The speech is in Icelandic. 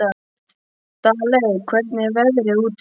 Daley, hvernig er veðrið úti?